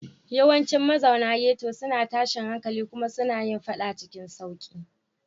Yawancin mazauna ghetto suna tashin hankali kuma suna yin faɗa cikin sauƙi.